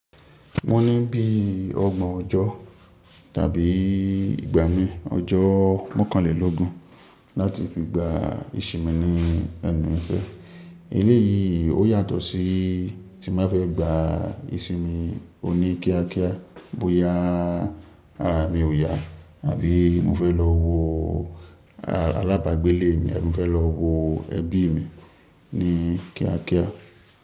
Mo ní bí ọgbọ̀n ọjọ́ tàbí ìgbà mi ọjọ́ mọ́kànlélógún láti fi gba ìṣinmi ní ẹnu ìṣẹ́. Eleyìí ó yàtọ̀ sí tí n ba fẹ́ gba ìsinmi oní kíákíá bóyá ara mi ò yá tàbí mo fẹ́ lọ wo alábàágbélé mi àbí mo fẹ́ lọ wo ẹbí mi ní kíákíá.